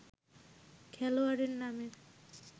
খেলোয়াড়ের নামের